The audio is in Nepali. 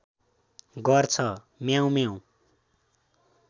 गर्छ म्याउँम्याउँ